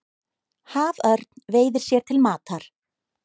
Haförn veiðir sér til matar.